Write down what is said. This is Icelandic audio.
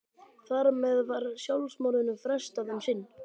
Þar með var sjálfsmorðinu frestað um sinn.